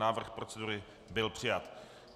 Návrh procedury byl přijat.